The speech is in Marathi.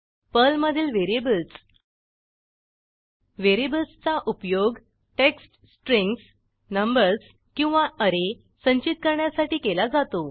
पर्लमधील व्हेरिएबल्सः व्हेरिएबल्सचा उपयोग टेक्स्ट स्ट्रिंग्ज नंबर्स किंवा ऍरे संचित करण्यासाठी केला जातो